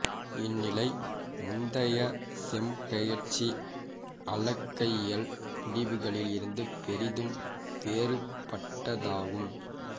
இந்நிலை முந்தைய செம்பெயர்ச்சி அளக்கையியல் முடிவுகளில் இருந்து பெரிதும் வேற்பாட்ட்தாகும்